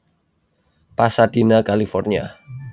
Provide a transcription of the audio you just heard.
Pasadena California